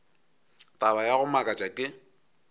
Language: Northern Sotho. taba ya go makatša ke